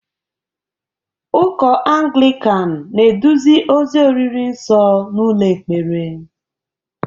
Ụkọ Anglịkan na-eduzi ozi oriri nsọ n'ụlọ ekpere